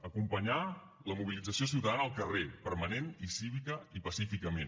acompanyar la mobilització ciutadana al carrer permanent cívicament i pacíficament